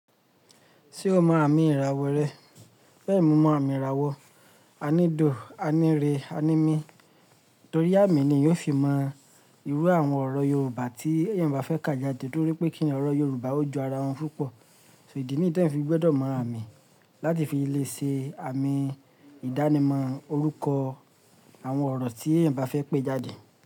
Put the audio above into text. Ṣé o mọ àmì ìràwọ̀ rẹ? Bẹ́ẹ̀ni mo mọ àmì ìràwọ̀, a ní dùn, a ní rẹ, a ní mí. Torí àmì ni èèyàn yóò fi mọ irú àwọn ọ̀rọ̀ Yorùbá tí ẹ̀yin bà fẹ́ kà jáde nítorí pé kíni ọ̀rọ̀ Yorùbá ó ju ara wọn púpọ̀. Idi ni yii ẹ̀yin te fi gbọ́dọ̀ mọ àmì láti fi lè ṣe àmì ìdánimọ̀ orúkọ àwọn ọ̀rọ̀ tí ẹ̀yin bá fẹ́ pé jáde.